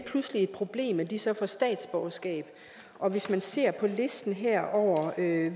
pludselig et problem at de så får statsborgerskab og hvis man ser på listen her over hvilke